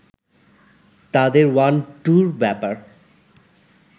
তাদের ওয়ান-টুর ব্যাপার